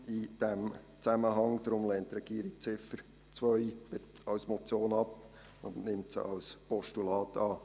Deshalb lehnt der Regierungsrat die Ziffer 2 als Motion ab und nimmt sie als Postulat an.